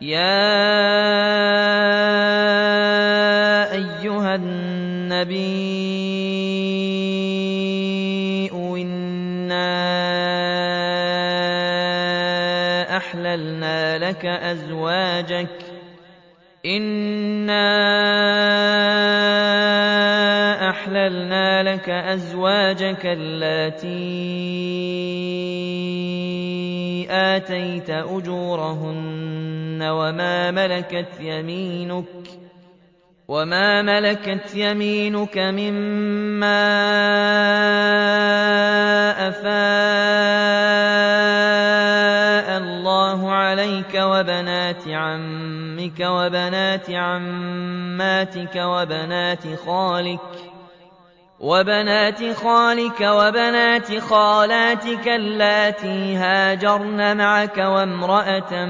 يَا أَيُّهَا النَّبِيُّ إِنَّا أَحْلَلْنَا لَكَ أَزْوَاجَكَ اللَّاتِي آتَيْتَ أُجُورَهُنَّ وَمَا مَلَكَتْ يَمِينُكَ مِمَّا أَفَاءَ اللَّهُ عَلَيْكَ وَبَنَاتِ عَمِّكَ وَبَنَاتِ عَمَّاتِكَ وَبَنَاتِ خَالِكَ وَبَنَاتِ خَالَاتِكَ اللَّاتِي هَاجَرْنَ مَعَكَ وَامْرَأَةً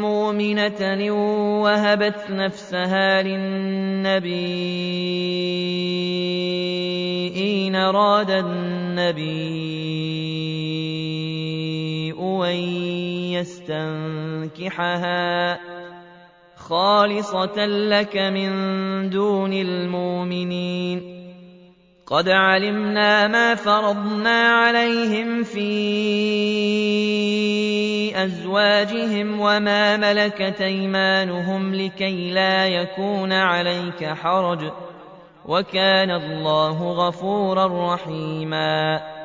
مُّؤْمِنَةً إِن وَهَبَتْ نَفْسَهَا لِلنَّبِيِّ إِنْ أَرَادَ النَّبِيُّ أَن يَسْتَنكِحَهَا خَالِصَةً لَّكَ مِن دُونِ الْمُؤْمِنِينَ ۗ قَدْ عَلِمْنَا مَا فَرَضْنَا عَلَيْهِمْ فِي أَزْوَاجِهِمْ وَمَا مَلَكَتْ أَيْمَانُهُمْ لِكَيْلَا يَكُونَ عَلَيْكَ حَرَجٌ ۗ وَكَانَ اللَّهُ غَفُورًا رَّحِيمًا